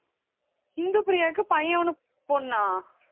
இந்துப்பிரியாவுக்கு பையன் ஒண்ணு பொண்ணா